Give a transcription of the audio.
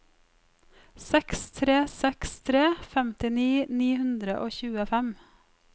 seks tre seks tre femtini ni hundre og tjuefem